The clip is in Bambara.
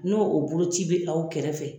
N'o o boloci bɛ aw kɛrɛfɛ